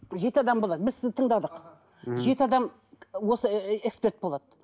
жеті адам болады біз сізді тыңдадық мхм жеті адам осы эксперт болады